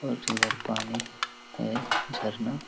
और इधर पानी है झरना --